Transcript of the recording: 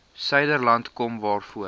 suiderland kom waaroor